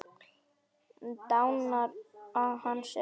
Dánarár hans er óþekkt.